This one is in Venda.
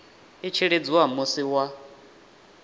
i tshi lidziwa musi wa